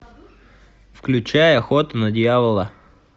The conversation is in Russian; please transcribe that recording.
включай охота на дьявола